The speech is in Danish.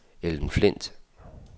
Ellen Flindt